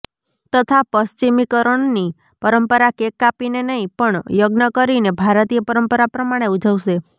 તથા પશ્ચિમીકરણની પરંપરા કેક કાપીને નહિ પણ યજ્ઞ કરીને ભારતીય પરંપરા પ્રમાણે ઉજવશે